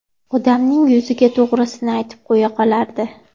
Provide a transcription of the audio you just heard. Odamning yuziga to‘g‘risini aytib qo‘ya qolardi.